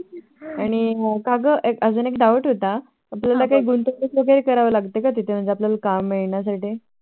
आणि काग अजून एक Doubt होता त्याला काही गुंतवणूक वैगेरे करावी लागते का तिथे आपल्याला काम मिळण्यासाठी